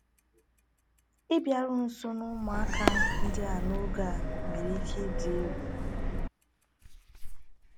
Ịbịaru nso n’ụmụaka ndị a n’oge a nwere ike ịdị egwu.